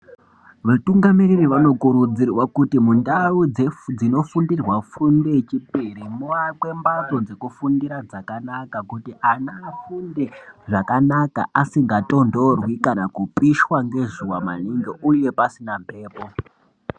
Vatungamiriri vanokurudzirwa kuti mundau dzino fundirwa fundo yechipiri muakwe mbatso dzekufundira dzakanaka kuti anhu afunde zvakanaka asinga tondorwi kana kupishwa ngezuwa maningi pasina peyiro